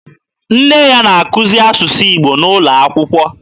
Nne ya na-akuzi asụsụ Igbo N'ụlọakwụkwọ.